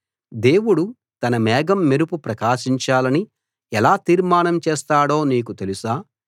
దేవుడు తన మేఘం మెరుపు ప్రకాశించాలని ఎలా తీర్మానం చేస్తాడో నీకు తెలుసా